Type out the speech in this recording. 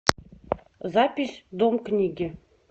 запись дом книги